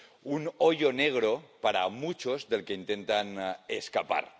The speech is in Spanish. Un hoyo negro para muchos, del que intentan escapar.